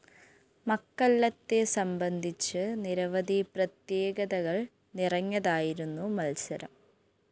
മക്കല്ലത്തെ സംബന്ധിച്ച് നിരവധി പ്രത്യേകതകള്‍ നിറഞ്ഞതായിരുന്നു മത്സരം